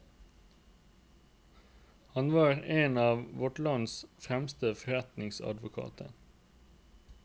Han var en av vårt lands fremste forretningsadvokater.